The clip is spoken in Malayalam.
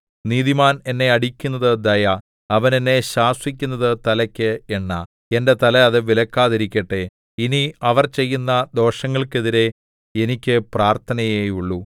നീതിമാൻ എന്നെ അടിക്കുന്നത് ദയ അവൻ എന്നെ ശാസിക്കുന്നത് തലയ്ക്ക് എണ്ണ എന്റെ തല അത് വിലക്കാതിരിക്കട്ടെ ഇനി അവർ ചെയ്യുന്ന ദോഷങ്ങൾക്കെതിരെ എനിക്ക് പ്രാർത്ഥനയേയുള്ളു